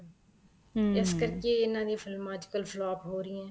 ਇਸ ਕਰਕੇ ਇਹਨਾ ਦੀ ਫ਼ਿਲਮਾਂ ਅੱਜ ਕੱਲ flop ਹੋ ਰਹੀਆਂ ਏ